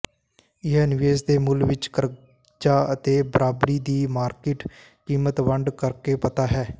ਇਹ ਨਿਵੇਸ਼ ਦੇ ਮੁੱਲ ਵਿੱਚ ਕਰਜ਼ਾ ਅਤੇ ਬਰਾਬਰੀ ਦੀ ਮਾਰਕੀਟ ਕੀਮਤ ਵੰਡ ਕਰਕੇ ਪਤਾ ਹੈ